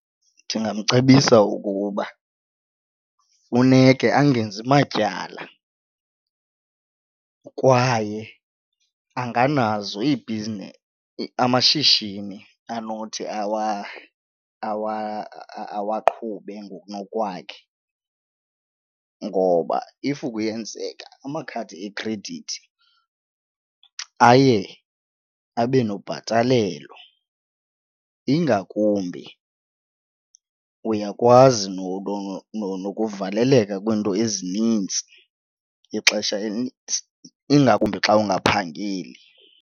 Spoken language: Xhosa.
Ndingamcebisa okokuba funeke angenzi matyala kwaye anganazo amashishini anothi awaqhube ngokunokwakhe ngoba if kuyenzeka amakhadi ekhredithi aye abe nokubhatalelwa, ingakumbi uyakwazi nokuvaleleka kwiinto ezinintsi ixesha elinintsi ingakumbi xa ungaphangeli.